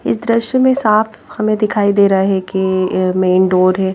इस दृश्य में साफ हमें दिखाई दे रहा है कि मेन डोर है।